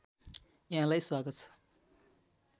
यहाँलाई स्वागत छ